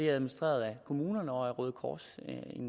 administreret af kommunerne og af røde kors